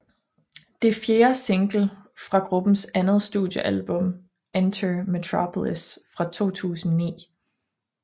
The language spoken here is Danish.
Det er fjerde single fra gruppens andet studiealbum Enter Metropolis fra 2009